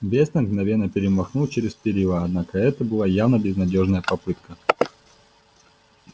вестон мгновенно перемахнул через перила однако это была явно безнадёжная попытка